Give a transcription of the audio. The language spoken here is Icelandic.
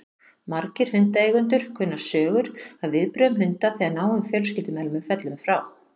Margir hundaeigendur kunna sögur af viðbrögðum hunda þegar náinn fjölskyldumeðlimur fellur frá.